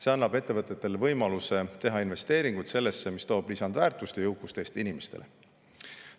See annab ettevõtetele võimaluse teha investeeringuid sellesse, mis toob lisandväärtust ja jõukust Eesti inimestele.